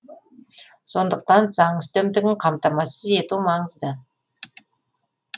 сондықтан заң үстемдігін қамтамасыз ету маңызды